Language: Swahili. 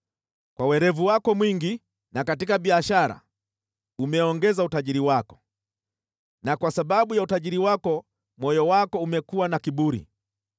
Kwa werevu wako mwingi katika biashara, umeongeza utajiri wako na kwa sababu ya utajiri wako moyo wako umekuwa na kiburi.